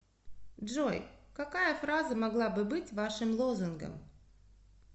джой какая фраза могла бы быть вашим лозунгом